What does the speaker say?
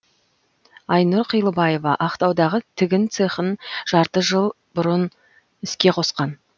айнұр қилыбаева ақтаудағы тігін цехын жарты жыл бұрын іске қосқан